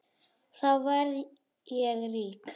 Þá verð ég rík.